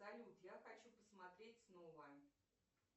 салют я хочу посмотреть снова